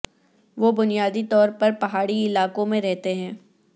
وہ بنیادی طور پر پہاڑی علاقوں میں رہتے ہیں